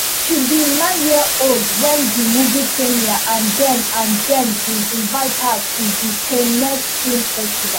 she be nine years old wen di movie premiere and dem and dem bin invite her to di cannes film festival